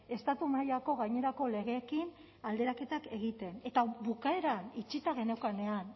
estatu mailako gainerako legeekin alderaketak egiten eta bukaeran itxita geneukanean